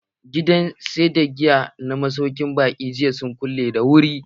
Gidan sayar da giya na masaukin baƙi sun kulle da wuri jiya.